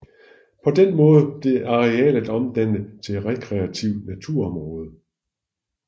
På den måde blev arealet omdannet til rekreativt naturområde